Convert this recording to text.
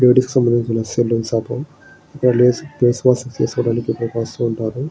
Ladies సంబంధిచిన saloon shop . Ladies face wash చేసికోవడానికి ఇక్కడకి వస్తుంటారు.